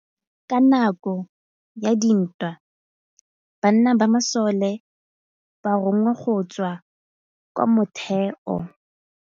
Ka nakô ya dintwa banna ba masole ba rongwa go tswa kwa mothêô.